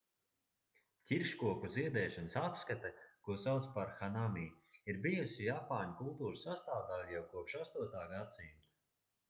ķirškoku ziedēšanas apskate ko sauc par hanami' ir bijusi japāņu kultūras sastāvdaļa jau kopš 8. gadsimta